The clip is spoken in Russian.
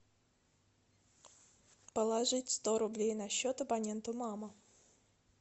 положить сто рублей на счет абоненту мама